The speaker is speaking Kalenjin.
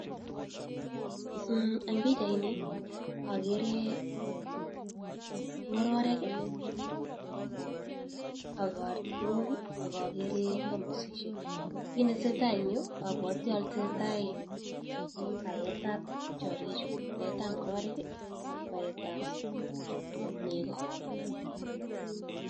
En bichait Ni agere ngororik akartok agagere tamosishek kit netesetai en Yu kotesetai baet ab tiangik Chu baet ab ngororik ak Bart ab nego